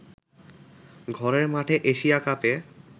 ঘরের মাঠে এশিয়া কাপে